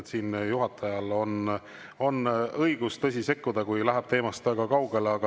Juhatajal on õigus, tõsi, sekkuda, kui läheb teemast väga kaugele.